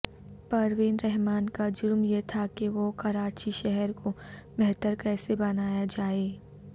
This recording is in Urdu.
پروین رحمان کا جرم یہ تھا کہ وہ کراچی شہر کو بہتر کیسے بنایا جائے